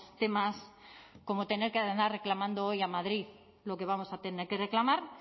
temas como tener que andar reclamando hoy a madrid lo que vamos a tener que reclamar